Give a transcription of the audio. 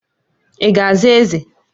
Ị ga-aza Eze!